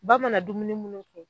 Ba mana dumuni munnu kɛ